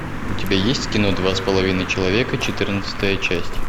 у тебя есть кино два с половиной человека четырнадцатая часть